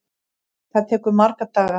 Það tekur marga daga!